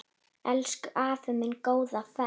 Elsku afi minn, góða ferð.